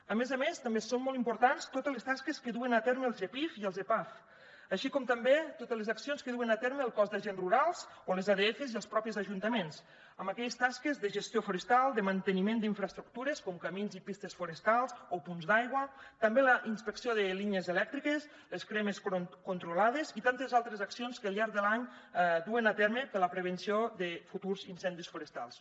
a més a més també són molt importants totes les tasques que duen a terme el gepif i els epaf així com també totes les accions que duen a terme el cos d’agents rurals o les adfs i els mateixos ajuntaments en aquelles tasques de gestió forestal de manteniment d’infraestructures com camins i pistes forestals o punts d’aigua també la inspecció de línies elèctriques les cremes controlades i tantes altres accions que al llarg de l’any duen a terme per a la prevenció de futurs incendis forestals